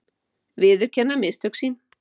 Viðurkenna mistök sín.